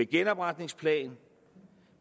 genopretningsplan